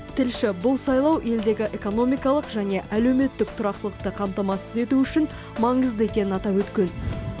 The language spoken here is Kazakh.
тілші бұл сайлау елдегі экономикалық және әлеуметтік тұрақтылықты қамтамасыз ету үшін маңызды екенін атап өткен